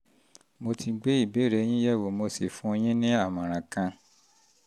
mo ti ti gbé ìbéèrè yín yẹ̀ wò mo sì fún yín ní ìmọ̀ràn kan